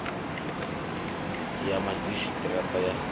ya madzhisi ṱira ṱa wa